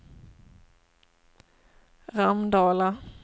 Ramdala